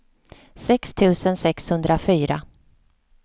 sex tusen sexhundrafyra